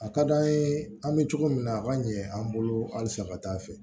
A ka d'an ye an be cogo min na a ka ɲɛ an bolo halisa ka taa fɛ